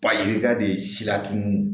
Ba yirika de sira tun